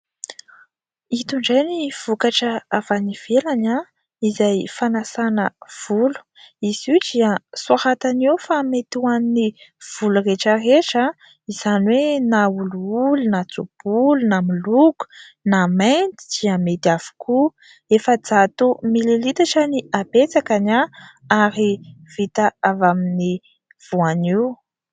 Ito indray ny vokatra avy any ivelany izay fanasana volo. Izy io dia soratany eo fa mety ho an'ny volo rehetra rehetra, izany hoe na olioly na tso-bolo, na miloko na mainty dia mety avokoa. Efajato mililitatra ny habetsakany ary vita avy amin'ny voanio.